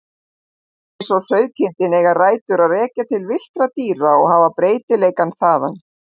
Húsdýr eins og sauðkindin eiga rætur að rekja til villtra dýra og hafa breytileikann þaðan.